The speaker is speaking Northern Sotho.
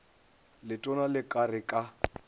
letona le ka re ka